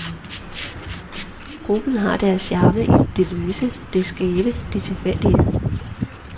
Gruppen har deres charme i det løse, det skæve, det tilfældige.